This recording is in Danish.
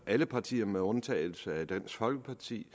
alle partier med undtagelse af dansk folkeparti